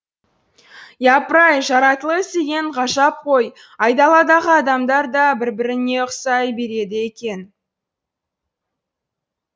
япырай жаратылыс деген ғажап қой айдаладағы адамдар да бір біріне ұқсай береді екен